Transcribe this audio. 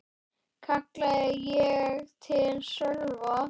kallaði ég til Sölva.